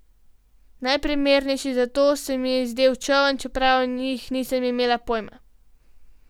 Najprimernejši za to se mi je zdel čoln, čeprav o njih nisem imel pojma.